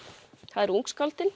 það eru